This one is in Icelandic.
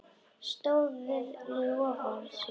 Stóð við loforð sín.